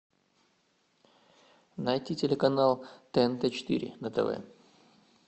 найти телеканал тнт четыре на тв